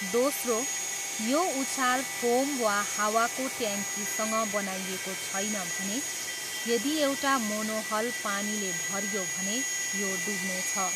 दोस्रो, यो उछाल फोम वा हावाको ट्याङ्कीसँग बनाइएको छैन भने, यदि एउटा मोनोहल पानीले भरियो भने, यो डुब्नेछ।